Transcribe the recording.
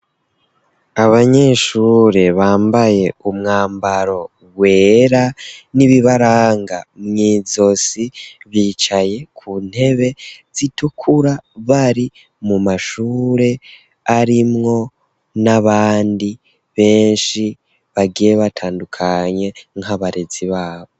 Abanyeshure bambaye umwambaro wera n'ibibaranga mw'izosi, bicaye ku ntebe zitukura, bari mu mashure arimwo n'abandi benshi bagiye batandukanye nk'abarezi babo.